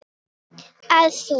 að þú.